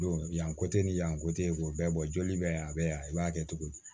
Don yan kote ni yan ko te k'o bɛɛ bɔ joli be yan a be yan i b'a kɛ cogo di